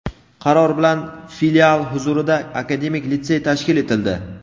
qaror bilan Filial huzurida akademik litsey tashkil etildi.